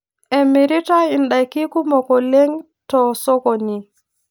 Emiritai indaiki kumok oleng' to osokoni